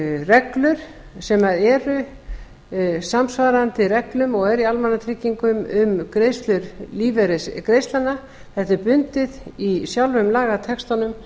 reglur sem eru samsvarandi reglum og eru í almannatryggingum um greiðslur lífeyrisgreiðslnanna þetta er bundið í sjálfum lagatextanum